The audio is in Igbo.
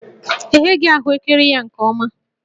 E gheghị ahụekere ya nke ọma